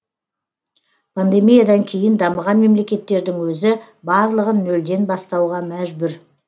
пандемиядан кейін дамыған мемлекеттердің өзі барлығын нөлден бастауға мәжбүр